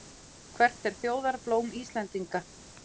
Hvert er þjóðarblóm Íslendinga?